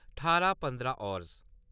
ठारां पंदरां हावर्स